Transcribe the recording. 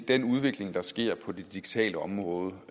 den udvikling der sker på det digitale område